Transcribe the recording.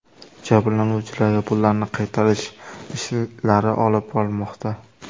Jabrlanuvchilarga pullarini qaytarish ishlari olib borilmoqda.